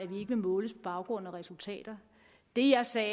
vil måles på baggrund af resultater det jeg sagde